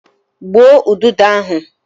Gbuo udodo ahụ!